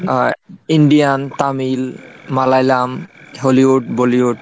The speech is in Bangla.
Indian, Tamil, Malayalam Hollywood, Bollywood?